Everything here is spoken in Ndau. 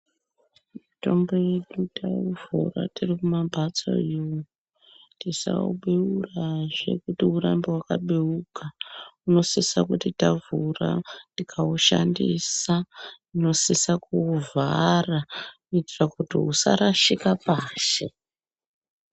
Mitombo yedu taivhura tiri kumamphatso iyo tisauberazve kuti urambe wakabeuka unosisa kuti tavhura tikaushandisa tinosisa kuuvhara kuitira kuti usarashika pashi.